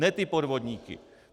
Ne ty podvodníky.